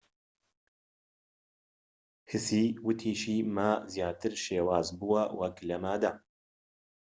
هسی وتیشی ما زیاتر شێواز بووە وەك لە مادە